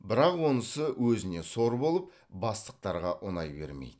бірақ онысы өзіне сор балып бастықтарға ұнай бермейді